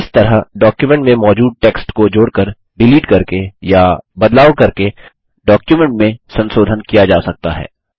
इस तरह डॉक्युमेट में मौजूद टेक्स्ट को जोड़कर डिलीट करके या बदलाव करके डॉक्युमेंट में संसोधन किया जा सकता है